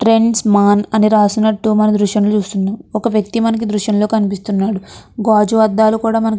Trends man అని రాసినట్టు మన దృశ్యం కనిపిస్తుంది. ఒక వ్యక్తి మనకు దృశంలో కనిపిస్తున్నాడు. అద్దాలు కూడా --